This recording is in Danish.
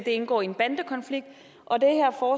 indgår i en bandekonflikt og det